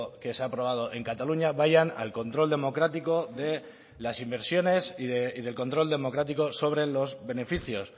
que se ha aprobado en cataluña vayan al control democrático de las inversiones y del control democrático sobre los beneficios